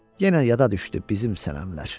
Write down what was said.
Yenə yada düşdü bizim sənəmlər.